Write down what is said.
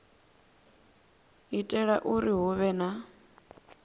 itela uri hu vhe na